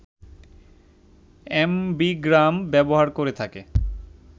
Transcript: ambigram ব্যবহার করে থাকে